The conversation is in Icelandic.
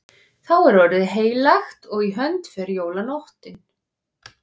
Þá er orðið heilagt og í hönd fer jólanóttin.